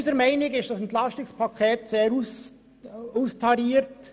Unserer Meinung nach ist das EP 2018 sehr austariert.